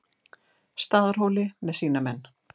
Staðarhóli með sína menn.